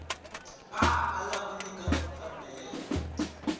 a ala ku nyika mfanelo